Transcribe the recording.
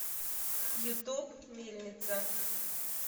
ютуб мельница